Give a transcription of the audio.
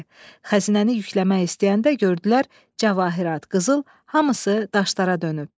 Xəzinəni yükləmək istəyəndə gördülər cəvahirat, qızıl hamısı daşlara dönüb.